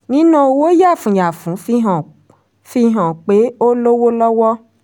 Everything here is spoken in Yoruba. níná owó yàfùyafùn fi hàn fi hàn pé o lówó lọ́wọ́.